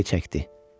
Yayı çəkdi.